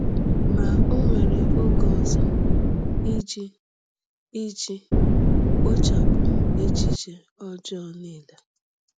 Ma o were oge ọzọ iji iji kpochapụ echiche ọjọọ niile.